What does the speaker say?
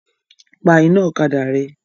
Pa iná ọ̀kadà rẹ!